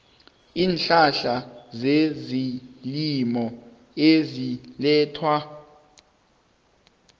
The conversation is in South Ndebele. iinhlahla zezelimo ezilethwa